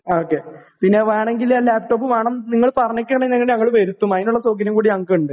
Okay. വേണെങ്കിൽ പിന്നെ laptop വേണം, നിങ്ങൾ പറഞ്ഞേക്കുകയാണെങ്കിൽ ഞങ്ങൾ വരുത്തും. അതിനുള്ള സൗകര്യം കൂടി ഞങ്ങൾക്കുണ്ട്.